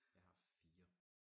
Jeg har 4